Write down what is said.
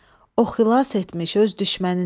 O xilas etmiş öz düşmənini.